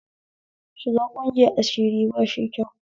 Shiga ƙungiyar asiri bashi kyau